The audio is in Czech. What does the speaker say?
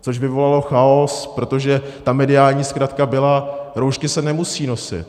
což vyvolalo chaos, protože ta mediální zkratka byla: roušky se nemusí nosit.